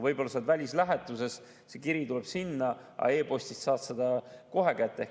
Võib-olla sa oled välislähetuses ja see kiri tuleks sinna, aga e‑postist saad ta kohe kätte.